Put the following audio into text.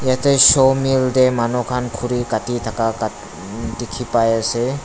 Yate saw mill te manu khan khure gate thaka khan dekhe pai ase.